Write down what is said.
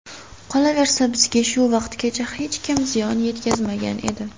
Qolaversa, bizga shu vaqtgacha hech kim ziyon yetkazmagan edi”.